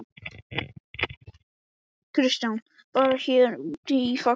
Kristján: Bara hérna úti í Faxaflóa?